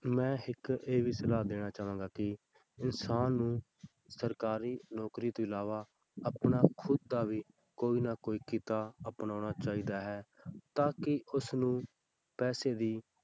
ਮੈਂ ਇੱਕ ਇਹ ਵੀ ਸਲਾਹ ਦੇਣਾ ਚਾਹਾਂਗਾ ਕਿ ਇਨਸਾਨ ਨੂੰ ਸਰਕਾਰੀ ਨੌਕਰੀ ਤੋਂ ਇਲਾਵਾ ਆਪਣਾ ਖੁੱਦ ਦਾ ਵੀ ਕੋਈ ਨਾ ਕੋਈ ਕਿੱਤਾ ਅਪਣਾਉਣਾ ਚਾਹੀਦਾ ਹੈ ਤਾਂ ਕਿ ਉਸਨੂੰ ਪੈਸੇ ਦੀ